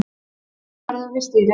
Enginn verður við stýrið